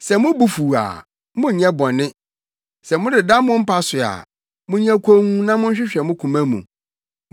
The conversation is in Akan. Sɛ mo bo fuw a, monnyɛ bɔne; sɛ modeda mo mpa so a, monyɛ komm na monhwehwɛ mo koma mu.